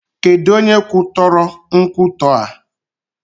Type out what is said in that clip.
Kedụ onye kwutọrọ nkwụtọ a?